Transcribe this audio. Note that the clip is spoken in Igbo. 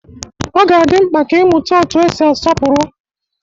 Ọ ga-adị mkpa ka ị mụta otú e si asọpụrụ